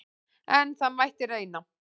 En það mætti reyna!